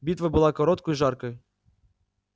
битва была короткой и жаркой